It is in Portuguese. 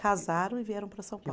Casaram e vieram para São Paulo.